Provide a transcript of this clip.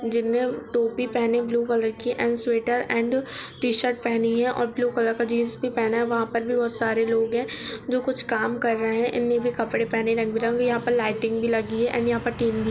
जिनमे टोपी पहने है ब्लू कलर की and sweater and T shirt भी पहनी है और का जीन्स भी पहना है वहां पर बहुत सारे लोग है जो कुछ काम कर रहे है इनने भी कपड़े पहने है रंग बिरंगी और लाइटिंग लगी हुई है एण्ड यहां पर तीन भी लगी है!शोर